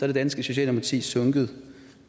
det danske socialdemokrati er sunket